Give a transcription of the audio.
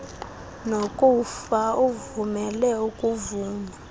nokufa uvumela ukuvuma